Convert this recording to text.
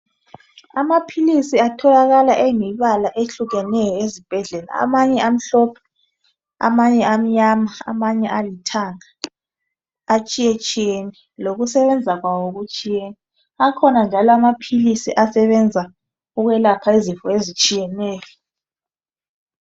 Amaphilisi atholakala eyimibala ehlukeneyo ezibhedlela amanye amhlophe, amanye amnyama amanye alithanga. Atshiyetshiyene lokusebenza kwawo kutshiyene. Akhona njalo amaphilisi asebenza ukwelapha izifo ezitshiyeneyo